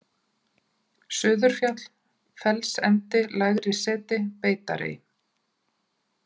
Suðurfjall, Fellsendi, Lægri-Seti, Beitarey